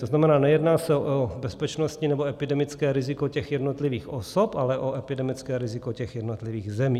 To znamená, nejedná se o bezpečnostní nebo epidemické riziko těch jednotlivých osob, ale o epidemické riziko těch jednotlivých zemí.